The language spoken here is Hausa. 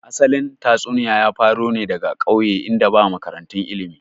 Asalin tatsuniya ya faro ne daga ƙauye in da ba makarantu ilmi